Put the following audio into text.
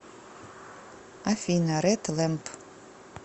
афина ред лэмп